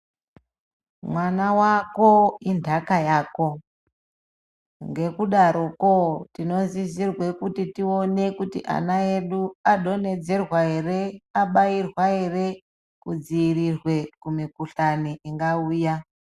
Mwana wako indaka yako ngekudaroko tinosizwe kuona kuti ana edu adonhedzerwa ere abairwa ere kumikuhlane ingauya.